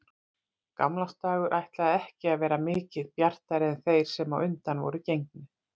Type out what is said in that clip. Gamlársdagur ætlaði ekki að vera mikið bjartari en þeir sem á undan voru gengnir.